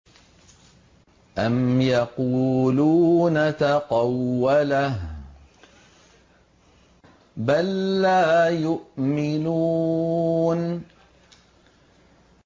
أَمْ يَقُولُونَ تَقَوَّلَهُ ۚ بَل لَّا يُؤْمِنُونَ